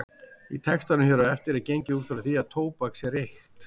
Í textanum hér á eftir er gengið út frá því að tóbak sé reykt.